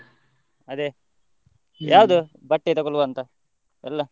ಅದೇ ಬಟ್ಟೆ ತಗೊಳುವಂತಾ ಎಲ್ಲಾ?